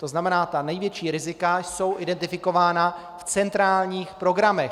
To znamená, ta největší rizika jsou identifikována v centrálních programech.